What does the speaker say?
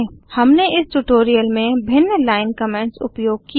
हमने इस ट्यूटोरियल में भिन्न लाइन कमेंट्स उपयोग किये